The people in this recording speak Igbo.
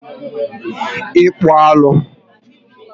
Ịkpụ alụ